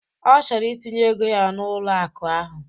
Ọ chọrọ itinye ego ya n'ụlọ akụ ahu.